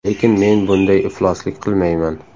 Lekin men bunday ifloslik qilmayman.